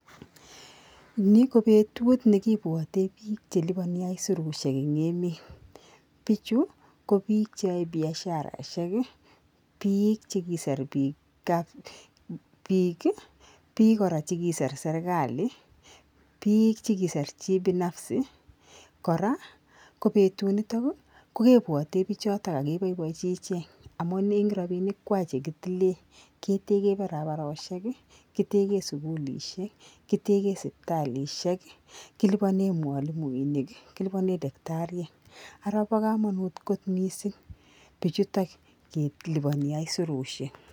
Ni ko betut nekibwoten bik chelibonii aisurusiek en emet bichuu ko bik cheyoe biasharaishek bik chekisir bik kap bikii, bik koraa chekiser serikali , bik chekisir kibinafsi koraa ko betun niton ko kebwote bichoton ak keboiboenji ichek amun en rabinik kwaa chekitilen keteken barabaroshekii, kitegen sukulishek, kitegen sipitalishek, kiliponen mwalimuinik , kiliponen dacktariek, araa bo komonut ko missing bichutok liponi aisurusiek.